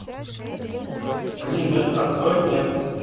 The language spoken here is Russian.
гринберг открой мне